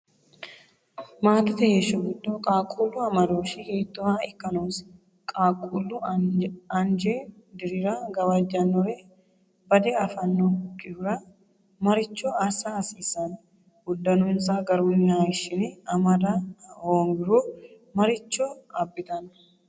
Maatete heeshsho giddo qaaqquullu amadooshshi hiittooha ikka noosi? Qaaqquullu anje dirira gawajjannore badde affannokkihura maricho assa hasiissanno? Uddanonsa garunni hayishshine amada hoongiro maricho abbitanno?